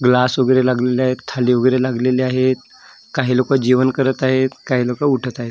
Glass वगेरे लागले थाळी वगेरे लागेली आहे काही लोकं जेवण करत आहेत काही लोकं उठत आहेत.